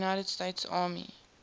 united states army